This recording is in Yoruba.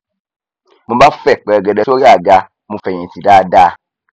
mo bá fẹ pẹrẹgẹdẹ sórí àga mo fẹhìntì dáadáa